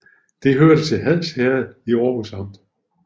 Det hørte til Hads Herred i Aarhus Amt